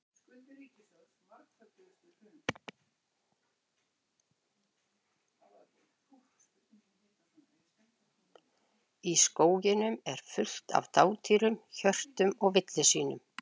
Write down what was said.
Í skógunum er fullt af dádýrum, hjörtum og villisvínum.